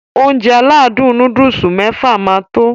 Ounjẹ aládùn nóódùsì mẹ́fà máa tó